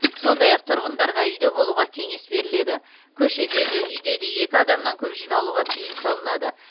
сондай ақ тұрғындарға үйде болуға кеңес беріледі көшеде де үйде де екі адамнан көп жиналуға тыйым салынады